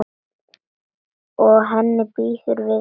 Og henni býður við mér.